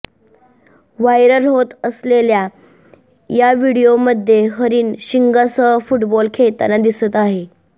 viral होत असलेल्या या व्हिडीओमध्ये हरिण शिंगासह फुटबॉल खेळताना दिसत आहे